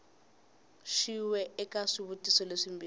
xin we eka swivutiso leswimbirhi